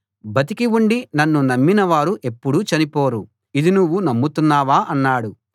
బతికి ఉండి నన్ను నమ్మిన వారు ఎప్పుడూ చనిపోరు ఇది నువ్వు నమ్ముతున్నావా అన్నాడు